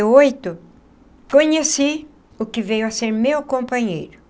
Oito conheci o que veio a ser meu companheiro.